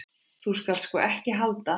Þú skalt sko ekki halda.